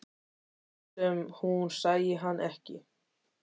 Lét sem hún sæi hann ekki.